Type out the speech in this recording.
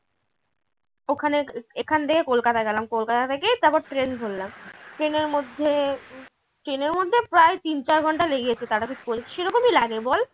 ওখানে এখান থেকে কলকাতা গেলাম কলকাতা থেকে তারপর train ধরলাম train এর মধ্যে train এর মধ্যে প্রায় তিন চার ঘন্টা লেগে গেছে সেরকমই লাগে বল